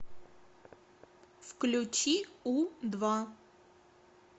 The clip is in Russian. включи у два